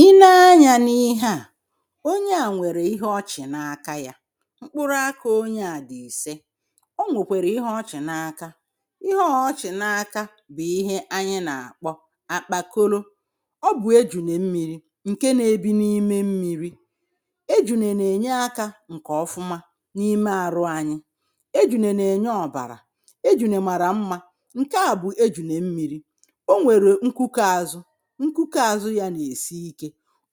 I nee anya n’ihe a ọnye a nwere ihe ọ chì na aka ya mkpụrụ aka ọnye a dị̀ ise ọ nwokwere ihe ọ chì na aka ihe ọ chì na aka bụ̀ ihe anyị̇ na-akpọ akpakọlọ̇. Ọ bụ̀ ejụ̀ne mmi̇ri nke na-ebi̇ n’ime mmiri̇ ejụ̀ne na-enye aka nke ọfụma n’ime arụ anyị̇ ejụ̀ne na-enye ọ̀bara ejụ̀ne mara mma nke a bụ̀ ejụ̀ne mmiri̇ ọ nwer nkụke azụ, nkụke azụ ya na esi ike.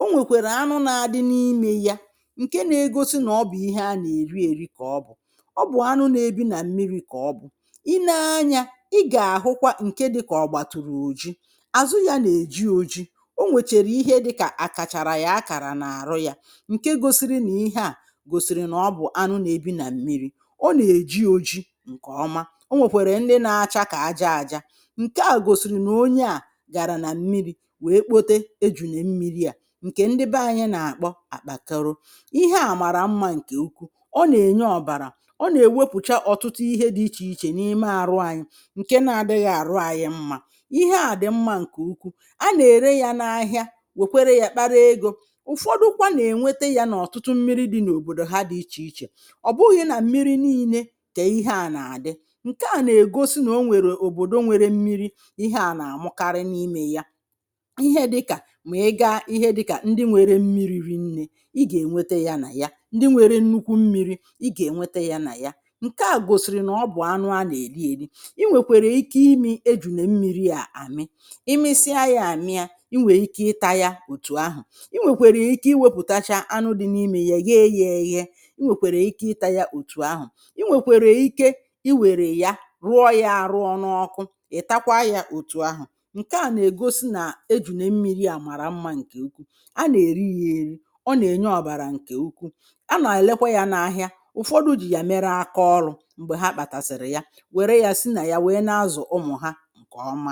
Enwekweru anụ na-adị n’ime ya nke na-egọsi na ọ bụ̀ ihe ana eri eri ka ọ bụ̀ ọ bụ̀ anụ na-ebì na mmiri ka ọ bụ̀. I nee anya ị ga-ahụkwa nke dị ka ọ gbatụ̀rụ̀ ọjii, azụ ya na-eji ọjii ọ nwecher ihe dịka akachara ya akara n’arụ ya nke gọsiri na ihe a gọ̀sìrì na ọ bụ̀ anụ na-ebi na mmiri ọ na-eji ọjii nke ọma ọ nwekwere ndị na-acha ka aja aja nke a gọ̀sìrì na ọnye a gara na mmiri wee kpọte ejụ̀ne mmiri a, nke ndị bee anyị̇ na-akpọ akpakorọ ihe a mara mma nke ụkwụ ọ na-enye ọ̇bara ọ na-ewepụ̀cha ọ̀tụtụ ihe dị̇ iche iche n’ime arụ anyị nke na-adịghi arụ ayị mma ihe a dị̀ mma nke ụkwụ a na-ere ya n’ahịa wekwere ya kpara egȯ ụ̀fọdụkwa na-enwete ya n’ọ̀tụtụ mmiri dị̇ n’ọ̀bọ̀dọ̀ ha dị̇ iche iche ọ̀ bụghị̇ na mmiri n’ine ka ihe a na-adị nke a na-egọsi na ọ nwere ọ̀bọ̀dọ̀ nwere mmiri ihe a na-amụkarị n’ime ya ihe dịka ma iga ihe dịka ndị nwere mmiri̇ rịnne i ga-enwete ya na ya ndị nwere nnụkwụ mmiri̇ i ga-enwete ya na ya nke a gọ̀sìrì na ọ bụ̀ anụ ana-eli eli inwekwere ike imi̇ ejụ̀ne mmiri a amị imisia ya amị a inwe ike ịta ya ọ̀tụ̀ ahụ̀ inwekwere ike iwepụ̀ tacha anụ dị n’ime ya yee ya eye inwekwere ike ịta ya ọ̀tụ̀ ahụ̀ i nwekwere ike i were ya rụọ ya arụ ọ na ọkụ ị̀ takwa ya ọ̀tụ̀ ahụ̀. Nke a na-egọsi na ejụ̀ne mmiri a mara mma nke ụkwụ. A na-eri ya eri ọ na-enye ọbara nke ụkwụ ana-elekwa ya n’ahịa ụ̀fọdụ jì ya mere aka ọrụ̇ m̀gbe ha kpatasị̀rị̀ ya were ya si na ya wee n’azụ̀ ụmụ̀ ha nke ọma